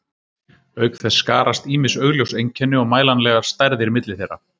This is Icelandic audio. auk þess skarast ýmis augljós einkenni og mælanlegar stærðir milli þeirra